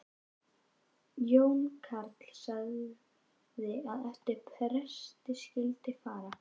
Jón karl sagði að eftir presti skyldi fara.